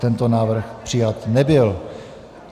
Tento návrh přijat nebyl.